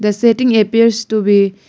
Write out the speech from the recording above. The setting appears to be --